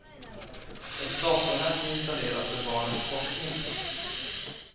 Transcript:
Ett datornät installeras för barnens forskning.